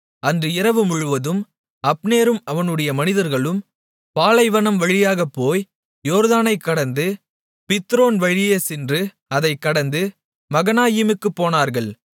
அன்று இரவு முழுவதும் அப்னேரும் அவனுடைய மனிதர்களும் பாலைவனம் வழியாகப் போய் யோர்தானைக் கடந்து பித்ரோன் வழியே சென்று அதைக் கடந்து மகனாயீமுக்குப் போனார்கள்